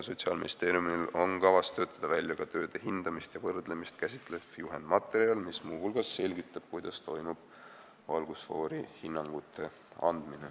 Sotsiaalministeeriumil on kavas töötada välja ka tööde hindamist ja võrdlemist käsitlev juhendmaterjal, mis muu hulgas selgitab, kuidas toimub valgusfoori hinnangute andmine.